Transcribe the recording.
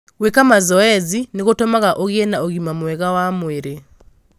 Gwĩka mazoezi nĩ gũtũmaga ũgĩe na ũgima mwega wa mwĩrĩ.